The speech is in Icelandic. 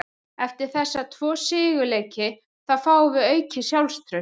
Eftir þessa tvo sigurleiki þá fáum við aukið sjálfstraust.